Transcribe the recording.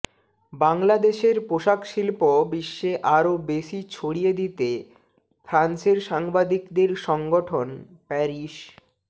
বাংলাদেশের পোশাক শিল্প বিশ্বে আরো বেশি ছড়িয়ে দিতে ফ্রান্সের সাংবাদিকদের সংগঠন প্যারিস